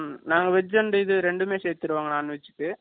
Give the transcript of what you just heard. நாங்க veg and இது இரண்டுமே சேர்த்திருவாங்க, non veg ku